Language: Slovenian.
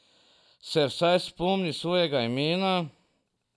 Se vsaj spomni svojega imena?